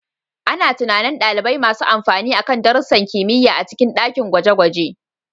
Ana tunanin ɗalibai masu amfani akan darussan kimiyya a cikin dakin gwaje-gwaje.